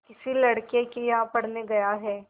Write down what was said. किसी लड़के के यहाँ पढ़ने गया है